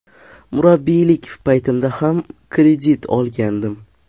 Murabbiylik paytimda ham kredit olgandim.